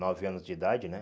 Nove anos de idade, né?